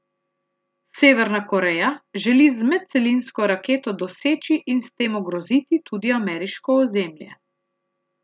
Severna Koreja želi z medcelinsko raketo doseči in s tem ogroziti tudi ameriško ozemlje.